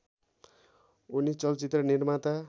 उनी चलचित्र निर्माता